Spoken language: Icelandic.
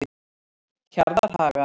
Hjarðarhaga